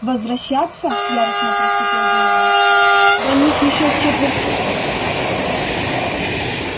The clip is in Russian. возвращаться яростно прошипел донован до них ещё с четверть мили